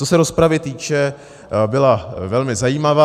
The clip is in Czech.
Co se rozpravy týče, byla velmi zajímavá.